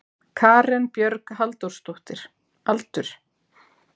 Karen Björg Halldórsdóttir Aldur?